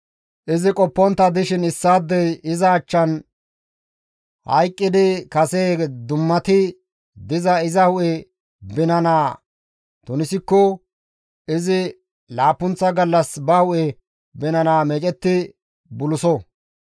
« ‹Izi qoppontta dishin issaadey iza achchan hayqqidi kase dummati diza iza hu7e binana tunisikko izi laappunththa gallas ba hu7e binana meedetti buluso.